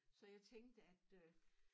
Så jeg tænkte at øh